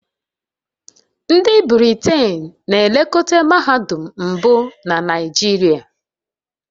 Ndị Britain na-elekọta mahadum mbụ na Naijiria